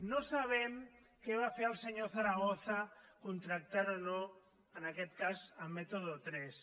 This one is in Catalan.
no sabem què va fer el senyor zaragoza contractant o no en aquest cas método tres